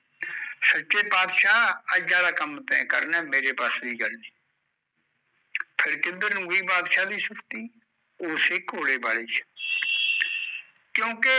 ਸੱਚੇ ਪਾਤਸ਼ਾਹ ਅੱਜ ਆਲਾ ਕੰਮ ਤੈਂ ਕਰਨਾ ਮੇਰੇ ਵਸ ਦੀ ਗੱਲ ਨਹੀਂ ਫਿਰ ਕਿੱਧਰ ਨੂੰ ਗਈ ਬਾਦਸ਼ਾਹ ਦੀ ਸੁਰਤੀ ਓਸੇ ਘੋੜੇ ਵਾਲੇ ਚ ਕਿਓਂਕਿ